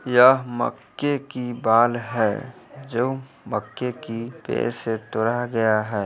यह मक्के की बाल है जो मक्के की पेड़ से तोड़ा गया है।